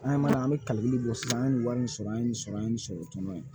An ye mana an bɛ kalili bɔ sisan an ye nin wari sɔrɔ an ye nin sɔrɔ an ye nin sɔrɔ tɔn in